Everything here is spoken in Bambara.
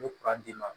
N bɛ d'i ma